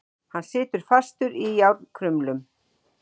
Hann situr fastur í járnkrumlum.